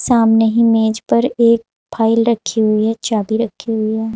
सामने ही मेज पर एक फाइल रखी हुई है। चाभी रखी हुई है।